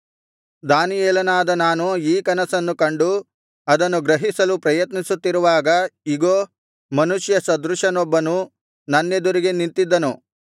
ದಾನಿಯೇಲನಾದ ನಾನು ಈ ಕನಸನ್ನು ಕಂಡು ಅದನ್ನು ಗ್ರಹಿಸಲು ಪ್ರಯತ್ನಿಸುತ್ತಿರುವಾಗ ಇಗೋ ಮನುಷ್ಯ ಸದೃಶನೊಬ್ಬನು ನನ್ನೆದುರಿಗೆ ನಿಂತಿದ್ದನು